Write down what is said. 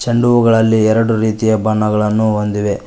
ಚೆಂಡು ಹೂ ಗಳಲ್ಲಿ ಎರಡು ರೀತಿಯ ಬಣ್ಣಗಳನ್ನು ಹೊಂದಿವೆ.